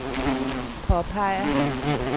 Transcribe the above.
påpeger